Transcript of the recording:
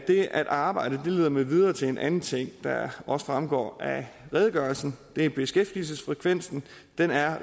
arbejde leder mig videre til en anden ting der også fremgår af redegørelsen det er beskæftigelsesfrekvensen den er